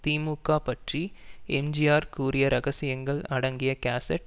திமுக பற்றி எம்ஜிஆர் கூறிய ரகசியங்கள் அடங்கிய கேசட்